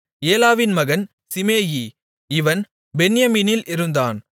ஏலாவின் மகன் சீமேயி இவன் பென்யமீனில் இருந்தான்